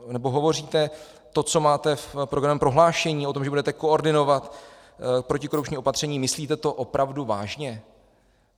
nebo hovoříte to, co máte v programovém prohlášení, o tom, že budete koordinovat protikorupční opatření - myslíte to opravdu vážně?